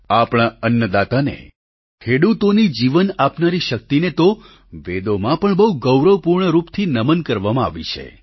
આપણા અન્નદાતાને ખેડૂતોની જીવન આપનારી શક્તિને તો વેદોમાં પણ બહુ ગૌરવપૂર્ણરૂપથી નમન કરવામાં આવી છે